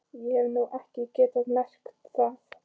Ég hef nú ekki getað merkt það.